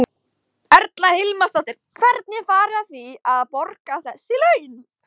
Erla Hlynsdóttir: Hvernig farið þið að því að, að borga þessi laun?